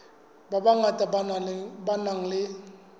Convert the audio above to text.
ba bangata ba nang le